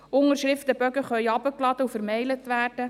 Unterschriftenbogen können heruntergeladen und gemailt werden;